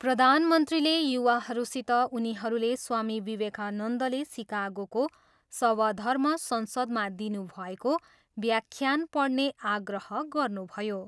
प्रधानमन्त्रीले युवाहरूसित उनीहरूले स्वामी विवेकानन्दले सिकागोको सवधर्म संसदमा दिनुभएको व्याख्यान पढ्ने आग्रह गर्नुभयो।